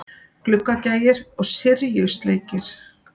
Gluggagægir og Syrjusleikir.